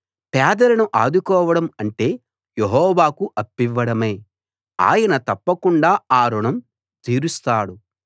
పేదలను ఆదుకోవడం అంటే యెహోవాకు అప్పివ్వడమే ఆయన తప్పకుండా ఆ రుణం తీరుస్తాడు